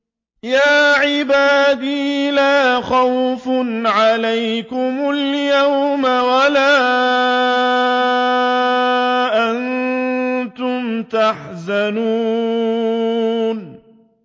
يَا عِبَادِ لَا خَوْفٌ عَلَيْكُمُ الْيَوْمَ وَلَا أَنتُمْ تَحْزَنُونَ